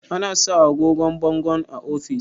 ana sa agogon bangon a ofis